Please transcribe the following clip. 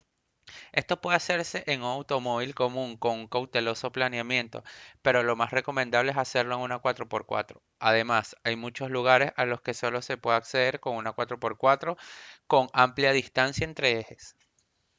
esto puede hacerse en un automóvil común con un cauteloso planeamiento pero lo más recomendable es hacerlo en una 4x4; además hay muchos lugares a los que solo se puede acceder con una 4x4 con amplia distancia entre ejes